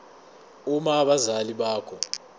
uma abazali bakho